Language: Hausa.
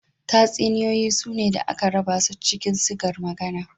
Tatsuniyoyi sune da aka raba su cikin sigar magana.